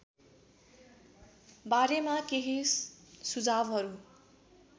बारेमा केही सुझावहरू